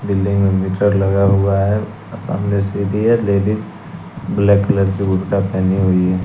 building में meter लगा हुआ है सामने सीधी है लेडिस ब्लैक कलर की बुर्का पहनी हुई--